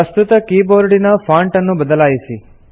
ಪ್ರಸ್ತುತ ಕೀಬೋರ್ಡಿನ ಫಾಂಟ್ ಅನ್ನು ಬದಲಾಯಿಸಿ